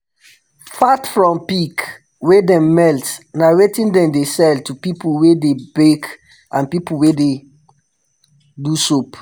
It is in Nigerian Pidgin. fat from pig wey dem melt na wetin dem dey sell to pipu wey dey bake and pipu wey dey do soap